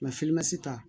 ta